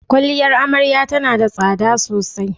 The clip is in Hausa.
Kwaliyar Amarya tana da tsada sosai.